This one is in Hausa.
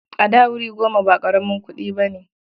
A da, wuri goma ba ƙaramin kuɗi ba ne.